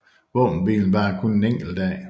Våbenhvilen varer kun en enkelt dag